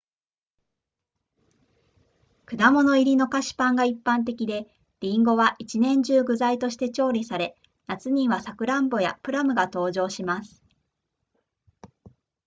果物入りの菓子パンが一般的でリンゴは1年中具材として調理され夏にはサクランボやプラムが登場します